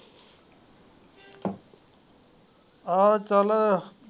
ਆਹੋ ਚੱਲ।